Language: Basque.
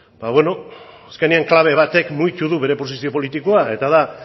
ba beno azkenean klabe batek mugitu du bere posizio politikoa eta da